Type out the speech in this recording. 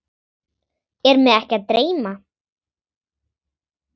Er mig ekki að dreyma?